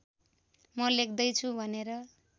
म लेख्दैछु भनेर